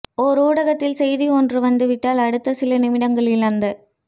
ஓர் ஊடகத்தில் செய்தி ஒன்று வந்துவிட்டால் அடுத்த சில நிமிடங்களில் அந்தச்